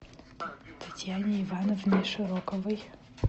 татьяне ивановне широковой